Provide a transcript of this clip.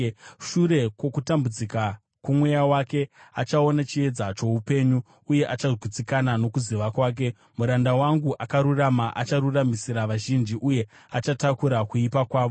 Shure kwokutambudzika kwomweya wake, achaona chiedza choupenyu uye achagutsikana; nokuziva kwake, muranda wangu akarurama acharuramisira vazhinji, uye achatakura kuipa kwavo.